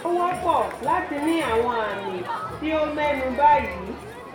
ó wọ́pọ̀ láti ní àwọn àmì tí o mẹ́nu bà yìí